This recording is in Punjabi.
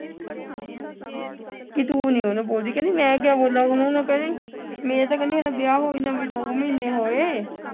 ਕਿ ਤੂੰ ਨਹੀਂ ਉਹਨੂੰ ਬੋਲਦੀ ਮੈਂ ਕਿਆ ਉਹਨੂੰ ਬੋਲਾਂ ਉਹਨੂੰ ਉਹਨੂੰ ਕਹਿੰਦੀ ਮੇਰਾ ਤੇ ਕਹਿੰਦੀ ਵਿਆਹ ਹੋਏ ਨੂੰ ਅਜੇ ਦੋ ਮਹੀਨੇ ਹੋਏ